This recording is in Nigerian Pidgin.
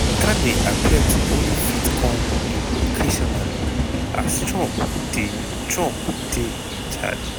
carney appear to only fit come in occasionally as trump dey trump dey in charge.